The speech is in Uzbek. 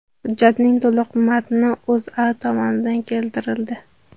Hujjatning to‘liq matni O‘zA tomonidan keltirildi .